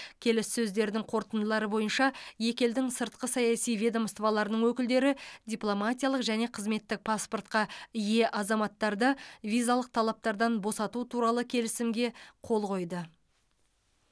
келіссөздердің қорытындылары бойынша екі елдің сыртқы саяси ведомстволарының өкілдері дипломатиялық және қызметтік паспортқа ие азаматтарды визалық талаптардан босату туралы келісімге қол қойды